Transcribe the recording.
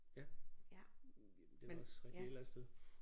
Ja. Det er vel også rigtigt et eller andet sted